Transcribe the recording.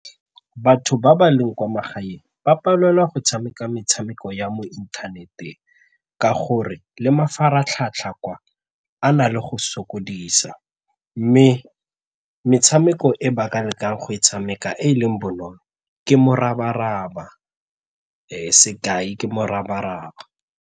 Batho ba ba leng kwa magaeng ba palelwa go tshameka metshameko ya mo inthaneteng ka gore le mafaratlhatlha kwa a na le go sokodisa mme metshameko e ba ka lekang go e tshameka e e leng bonolo ke morabaraba sekai ke morabaraba.